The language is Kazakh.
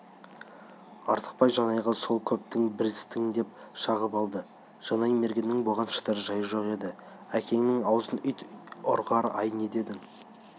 артықбай жанайға сол көптің бірісің деп шағып алды жанай мергеннің бұған шыдар жайы жоқ еді әкеңнің аузын ит ұрғыр-ай не дедің